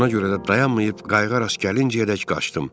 Buna görə də dayanmayıb qayıq rast gəlincəyədək qaçdım.